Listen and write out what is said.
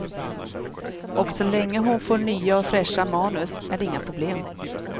Och så länge hon får nya och fräscha manus är det inga problem.